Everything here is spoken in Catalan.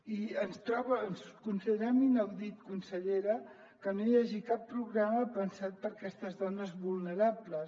i considerem inaudit consellera que no hi hagi cap programa pensat per a aquestes dones vulnerables